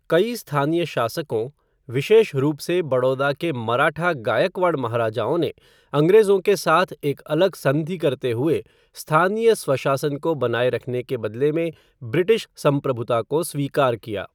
कई स्थानीय शासकों, विशेष रूप से बड़ौदा के मराठा गायकवाड़ महाराजाओं ने अंग्रेजों के साथ एक अलग संधि करते हुए स्थानीय स्वशासन को बनाए रखने के बदले में ब्रिटिश संप्रभुता को स्वीकार किया।